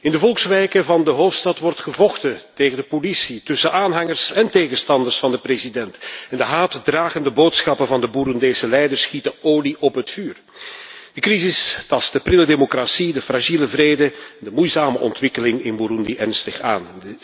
In de volkswijken van de hoofdstad wordt gevochten tegen de politie, tussen aanhangers en tegenstanders van de president en de haatdragende boodschappen van de Boeroendese leiders gieten olie op het vuur. De crisis tast de prille democratie, de fragiele vrede en de moeizame ontwikkeling in Boeroendi ernstig aan.